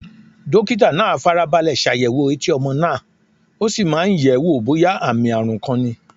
Dókítà náà fara balẹ̀ ṣàyẹ̀wò etí ọmọ náà, ó sì máa ń yẹ̀ ẹ́ wò bóyá àmì àrùn kan.